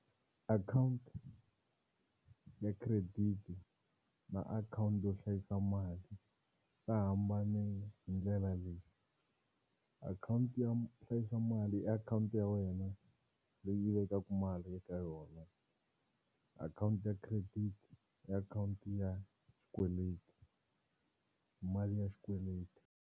Account ya credit na account yo hlayisa mali ta hambane hi ndlela leyi account yo hlayisa mali i account ya wena leyi yi vekaka mali eka yona. Account ya credit i account ya xikweleti mali ya xikweleti.